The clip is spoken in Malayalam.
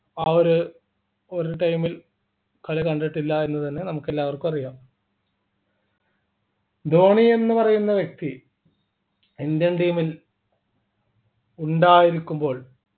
ആ ഒരു ഒരു time ൽ കളി കണ്ടിട്ടില്ല എന്ന് തന്നെ നമുക്ക് എല്ലാവർക്കും അറിയാം ധോണി എന്ന് പറയുന്ന വ്യക്തി Indian team ൽ ഉണ്ടായിരിക്കുമ്പോൾ